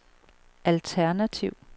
alternativ